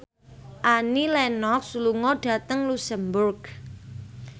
Annie Lenox lunga dhateng luxemburg